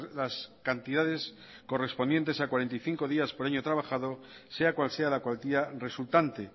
las cantidades correspondientes a cuarenta y cinco días por año trabajado sea cual sea la cuantía resultante